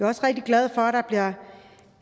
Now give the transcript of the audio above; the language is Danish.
også rigtig glad for at der bliver